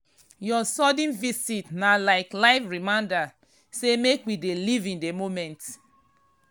your sudden visit na like life reminder say make we dey live in the moment.